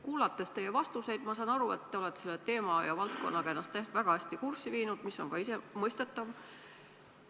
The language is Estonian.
Kuulates teie vastuseid, saan ma aru, et te olete ennast selle teema ja valdkonnaga väga hästi kurssi viinud, mis on ka mõistetav.